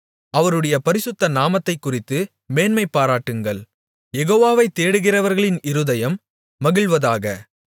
அவருடைய பரிசுத்த நாமத்தைக்குறித்து மேன்மைபாராட்டுங்கள் யெகோவாவை தேடுகிறவர்களின் இருதயம் மகிழ்வதாக